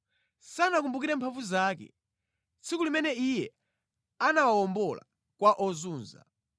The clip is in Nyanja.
Sanakumbukire mphamvu zake, tsiku limene Iye anawawombola kwa ozunza,